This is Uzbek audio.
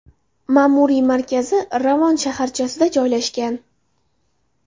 Ma’muriy markazi Ravon shaharchasida joylashgan.